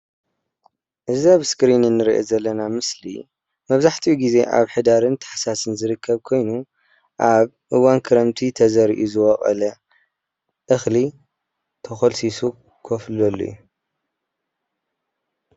እዚ አብ እስክሪን እንሪኦ ዘለና ምስሊ መብዛሕትኡ ግዘ አብ ሕዳርን ታሕሳስን ዝርከብ ኮይኑ አብ እዋን ክረምቲ ተዘሪኡ ዝበቆለ እኽሊ ተኾልሲሱ ኮፍ ዝብለሉ እዩ።